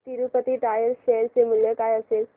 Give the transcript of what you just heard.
Tirupati tyres share चे मूल्य काय असेल